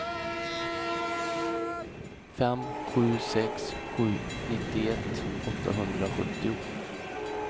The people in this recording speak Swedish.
fem sju sex sju nittioett åttahundrasjuttio